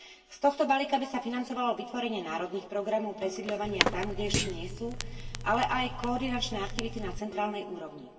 Z tohto balíka by sa financovalo vytvorenie národných programov presídľovania tam, kde ešte nie sú, ale aj koordinačné aktivity na centrálnej úrovni.